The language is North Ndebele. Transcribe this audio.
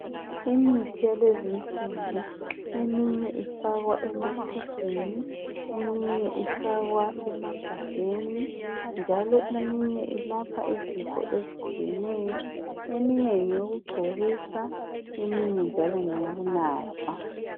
Imithi elezinsuku eminye ifakwa ematshumbini eminye ifakwa emagabheni njalo eminye ilapha izifo ezitshiyeneyo. Eminye ngeyokugcobisa eminye njalo ngeyokunatha.